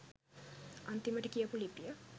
අන්තිමට කියපු ලිපිය